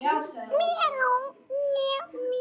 Kveðja, Eyrún Halla.